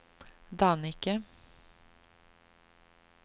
Dannike